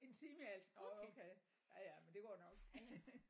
En time i alt nåh okay ja ja men det går nok